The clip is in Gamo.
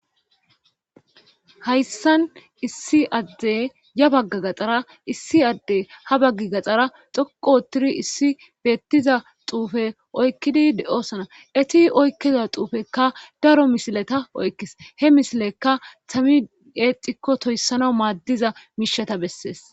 Hayssan issi adde ya bagga gaxxara issi adde ha baggi gaxxara xoqo otturi issi beettiza xuufe oykkidi de7osna eti oykkiza xuufekka daro misileta oykkis he misilekka tami eexikko toyssana maaddiza miishata bessees.